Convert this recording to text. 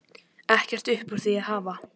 Ekkert upp úr því að hafa!